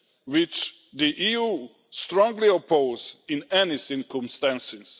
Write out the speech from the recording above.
which the EU strongly opposes in any circumstances.